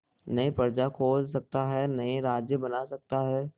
नई प्रजा खोज सकता है नए राज्य बना सकता है